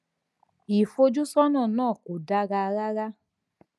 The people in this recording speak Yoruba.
ìfojúsọnà náà kò dára rárá